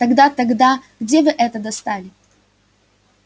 тогда тогда где вы это достали